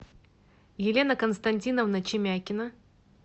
елена константиновна чемякина